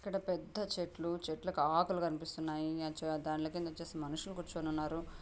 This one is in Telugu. ఇక్కడ పెద్ద చెట్లు చెట్లకు ఆకులు కనిపిస్తున్నాయి. దాని కింద వచ్చేసి మనుషులు కూర్చుని ఉన్నారు.